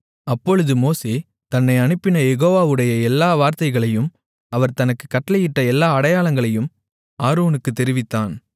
அப்பொழுது மோசே தன்னை அனுப்பின யெகோவாவுடைய எல்லா வார்த்தைகளையும் அவர் தனக்குக் கட்டளையிட்ட எல்லா அடையாளங்களையும் ஆரோனுக்குத் தெரிவித்தான்